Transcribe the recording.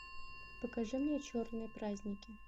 покажи мне черные праздники